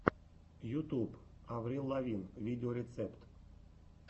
ютюб аврил лавин видеорецепт